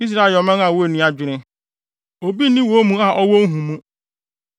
Israel yɛ ɔman a wonni adwene. Obi nni wɔn mu a ɔwɔ nhumu.